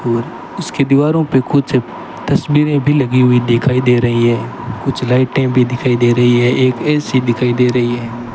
और उसके दीवारों पे कुछ तस्वीरें भी लगी हुई दिखाई दे रही है कुछ लाइटें भी दिखाई दे रही है एक ए_सी दिखाई दे रही है।